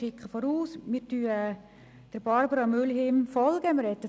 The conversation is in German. Ich erkläre vorweg, dass wir Barbara Mühlheim folgen werden.